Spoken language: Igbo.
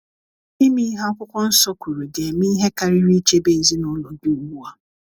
Ime ihe akwụkwo nsọ kwuru ga - eme ihe karịrị ichebe ezinụlọ gị ugbu a.